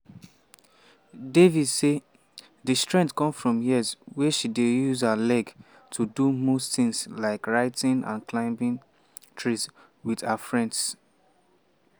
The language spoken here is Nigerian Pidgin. devi say di strength come from years wey she dey use her legs to do most tins like writing and climbing trees wit her friends.